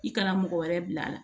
I karamɔgɔ wɛrɛ bila la